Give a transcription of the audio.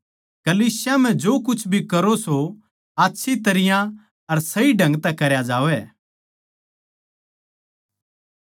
कलीसिया म्ह जो कुछ भी करो सों आच्छी तरियां अर सही ढंग तै करया जावैं